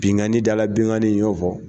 Binkanni dala benkanni n y'o fɔ